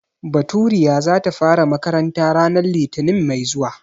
Baturiya za ta fara makaranta ranar litinin mai zuwa.